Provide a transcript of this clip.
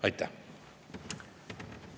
Aitäh!